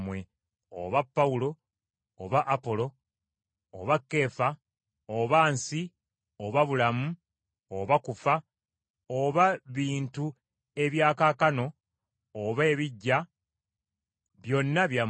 oba Pawulo oba Apolo oba Keefa oba nsi, oba bulamu, oba kufa, oba bintu ebya kaakano, oba ebijja, byonna byammwe,